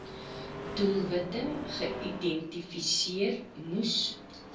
doelwitte geïdentifiseer moes